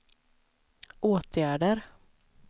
åtgärder